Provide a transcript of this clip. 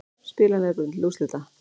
Spilar nefbrotinn til úrslita